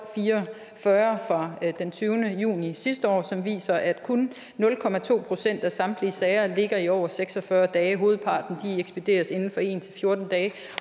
fire og fyrre fra den tyvende juni sidste år som viser at kun nul procent af samtlige sager ligger i over seks og fyrre dage hovedparten ekspederes inden for en til fjorten dage